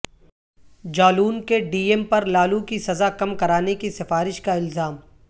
جالون کے D M پر لالو کی سزا کم کرانے کی سفارش کا الزام